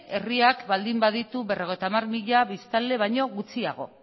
herriak baldin baditu berrogeita hamar mila biztanle baino gutxiago